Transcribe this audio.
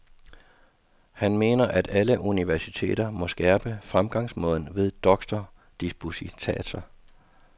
Han mener, at alle universiteter må skærpe fremgangsmåden ved doktordisputatser.